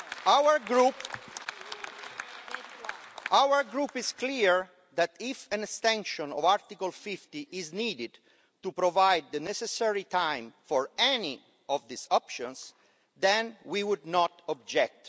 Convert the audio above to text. Our group is clear that, if an extension of Article 50 is needed to provide the necessary time for any of these options, then we would not object.